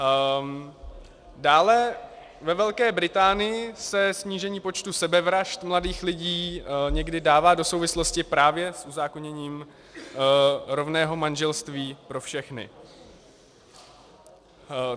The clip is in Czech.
Dále, ve Velké Británii se snížení počtu sebevražd mladých lidí někdy dává do souvislosti právě s uzákoněním rovného manželství pro všechny.